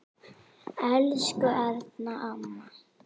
Elsku Erna amma.